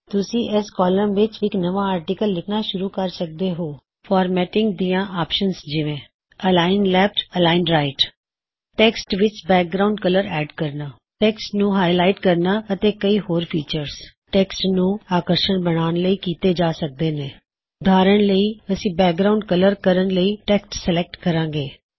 ਤੁਸੀਂ ਏਸ ਕੌਲਮ ਵਿੱਚ ਇਕ ਨਵਾਂ ਆਰ੍ਟਿਕਲ ਲਿਖਨਾ ਸ਼ੁਰੂ ਕਰ ਸਕਦੇ ਹੋਂ ਫਾਰਮੈਟਿੰਗ ਦਿਆਂ ਆਪਸ਼ਨਜ ਜਿਵੇ align left align right text ਵਿਚ ਬੈਕਗਰਾਉਨਡ ਕਲਰ ਐਡ ਕਰਨਾ ਟੈੱਕਸਟ ਨੂੰ ਹਾਈਲਾਇਟ ਕਰਨਾ ਅਤੇ ਕਈ ਹੋਰ ਫੀਚਰ੍ਜ਼ ਟੈੱਕਸਟ ਨੂੰ ਆਕਰਸ਼ਕ ਬਣਾਉਣ ਲਈ ਐਡ ਕੀਤੇ ਜਾ ਸਕਦੇ ਨੇ ਉਦਾਹਰਨ ਲਈਅਸੀ ਬੈਕਗ੍ਰਾਉਨਡ ਕਲਰ ਕਰਨ ਟੈੱਕਸਟ ਸੈਲੇਕਟ ਕਰਾਂਗੇ